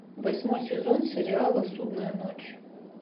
восьмой сезон сериала судная ночь